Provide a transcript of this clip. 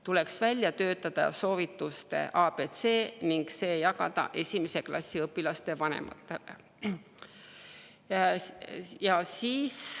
Tuleks välja töötada soovituste ABC ning jagada see esimese klassi õpilaste vanematele.